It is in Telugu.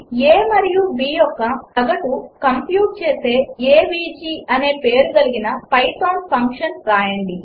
a మరియు b యొక్క సగటు కంప్యూట్ చేసే ఏవీజీ అనే పేరుగలిగిన పైథాన్ ఫంక్షన్ వ్రాయండి